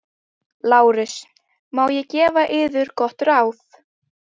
LÁRUS: Má ég gefa yður gott ráð?